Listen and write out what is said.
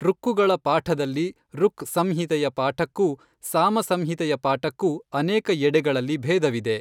ಋಕ್ಕುಗಳ ಪಾಠದಲ್ಲಿ ಋಕ್ ಸಂಹಿತೆಯ ಪಾಠಕ್ಕೂ ಸಾಮಸಂಹಿತೆಯ ಪಾಠಕ್ಕೂ ಅನೇಕ ಎಡೆಗಳಲ್ಲಿ ಭೇದವಿದೆ.